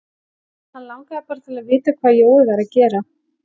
Hann langaði bara til að vita hvað Jói væri að gera.